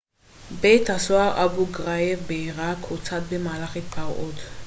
בית הסוהר אבו-גרייב בעירק הוצת במהלך התפרעות